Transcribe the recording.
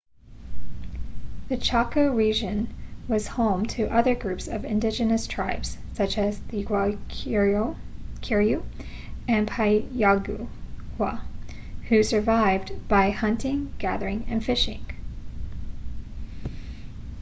the chaco region was home to other groups of indigenous tribes such as the guaycurú and payaguá who survived by hunting gathering and fishing